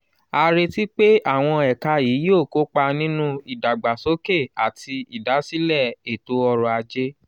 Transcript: a retí pé àwọn ẹ̀ka yìí yóò kópa nínú ìdàgbàsókè àti ìdásílẹ̀ ètò ọrọ̀ ajé.